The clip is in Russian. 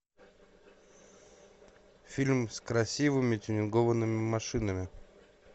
фильм с красивыми тюнингованными машинами